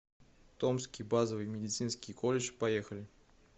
томский базовый медицинский колледж поехали